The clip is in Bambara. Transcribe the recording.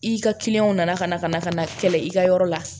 I ka kiliyanw nana ka na ka na ka na kɛlɛ i ka yɔrɔ la